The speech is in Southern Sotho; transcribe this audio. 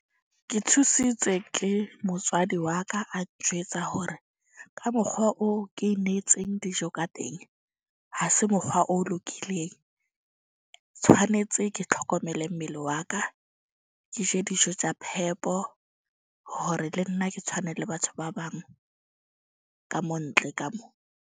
Ke thusitswe ke motswadi wa ka a njwetsa hore ka mokgwa o ke netseng dijo ka teng, ha se mokgwa o lokileng. Tshwanetse ke tlhokomele mmele wa ka. Ke je dijo tja phepo. Hore le nna ke tshwane le batho ba bang, ka mo ntle ka mo.